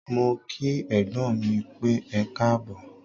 Mó kí ẹ̀gbọ́n mí pẹ́, ẹkáàbọ̀.